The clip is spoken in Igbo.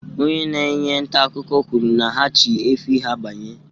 Onye na-enye ntaakụkọ kwuru na ha chị efi ha banye